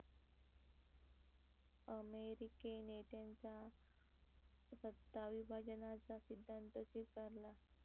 अमेरिकेने त्यांचा सत्ता विभाजनाचा सिद्धांत स्विकारला.